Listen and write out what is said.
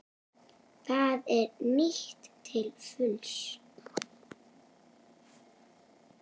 Það er nýtt til fulls.